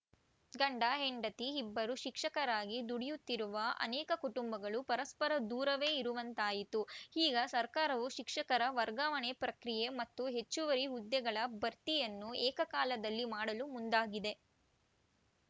ಗಂಡ ಹೆಂಡತಿ ಇಬ್ಬರೂ ಶಿಕ್ಷಕರಾಗಿ ದುಡಿಯುತ್ತಿರುವ ಅನೇಕ ಕುಟುಂಬಗಳು ಪರಸ್ಪರ ದೂರವೇ ಇರುವಂತಾಯಿತು ಈಗ ಸರಕಾರವು ಶಿಕ್ಷಕರ ವರ್ಗಾವಣೆ ಪ್ರಕ್ರಿಯೆ ಮತ್ತು ಹೆಚ್ಚುವರಿ ಹುದ್ದೆಗಳ ಭರ್ತಿಯನ್ನು ಏಕಕಾಲದಲ್ಲಿ ಮಾಡಲು ಮುಂದಾಗಿದೆ